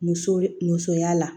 Muso musoya la